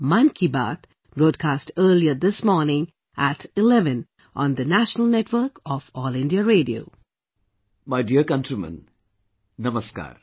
My dear countrymen, Namaskar